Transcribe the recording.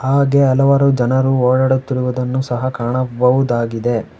ಹಾಗೆ ಹಲವಾರು ಜನರು ಓಡಾಡುತ್ತಿರುವುದನ್ನು ಸಹ ಕಾಣಬಹುದಾಗಿದೆ.